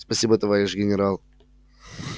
спасибо товарищ генерал